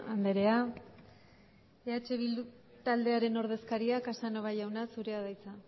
andrea eh bildu taldearen ordezkaria casanova jauna zurea da hitza